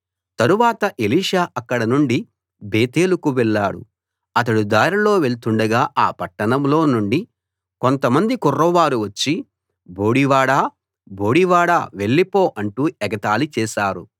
తరువాత ఎలీషా అక్కడ నుండి బేతేలుకు వెళ్ళాడు అతడు దారిలో వెళ్తుండగా ఆ పట్టణంలో నుండి కొంతమంది కుర్రవారు వచ్చి బోడి వాడా బోడి వాడా వెళ్లిపో అంటూ ఎగతాళి చేసారు